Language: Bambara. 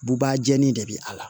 Buba jeni de be a la